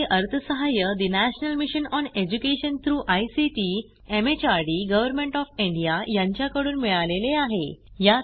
यासाठी अर्थसहाय्य national mission on education through ICT MHRD government of India यांच्याकडून मिळालेले आहे